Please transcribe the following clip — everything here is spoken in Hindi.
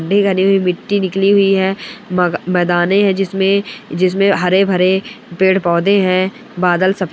मिट्टी निकली हुई हैं म-मैदाने हैं जिसमे हरे-भरे पेड़ पौधे हैं । बादल सफ़ेद--